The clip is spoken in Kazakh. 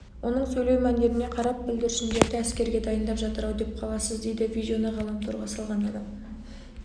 оның сөйлеу мәнеріне қарап бүлдіршіндерді әскерге дайындап жатыр-ау деп қаласыз дейді видеоны ғаламторға салған адам